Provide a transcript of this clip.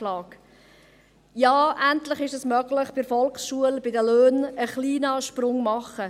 Ja, endlich ist es möglich, bei den Löhnen in der Volksschule einen kleinen Sprung zu machen.